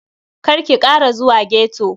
Karki Kara zuwa ghetto.